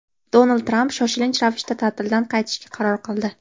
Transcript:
Donald Tramp shoshilinch ravishda ta’tildan qaytishga qaror qildi.